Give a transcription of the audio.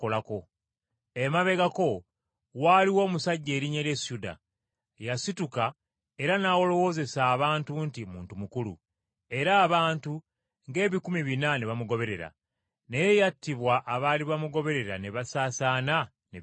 Emabegako waaliwo omusajja erinnya lye Syuda, yasituka era n’alowoozesa abantu nti muntu mukulu, era abantu ng’ebikumi bina ne bamugoberera; naye yattibwa abaali bamugoberera ne basaasaana ne bikoma awo.